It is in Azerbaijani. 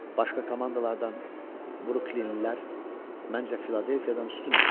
Başqa komandalardan, Bruklinlilər, məncə Filadelfiyadan üstündür.